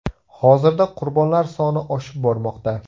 Hozirda qurbonlar soni oshib bormoqda.